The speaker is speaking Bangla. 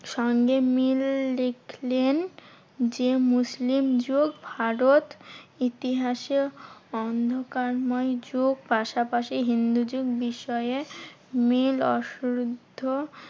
সঙ্গে মিল দেখলেন যে, মুসলিম যুগ ভারত ইতিহাসে অন্ধকার ময় যুগ। পাশাপাশি হিন্দুযুগ বিষয়ে মিল অশুদ্ধ